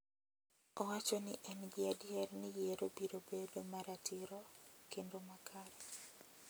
Owacho ni en gi adier ni yiero biro bedo maratiro kende makare.